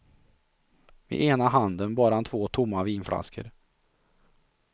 I ena handen bar han två tomma vinflaskor.